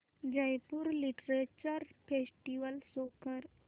Jaipur literature festival show कर